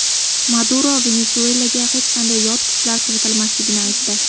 Maduro Venesuelaga hech qanday yot kuchlar kiritilmasligini aytdi.